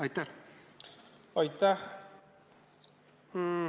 Aitäh!